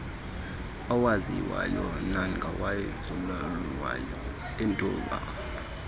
awaziwayo nangawenzululwazi eentlobo